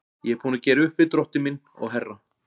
Ég er búinn að gera upp við Drottin minn og herra.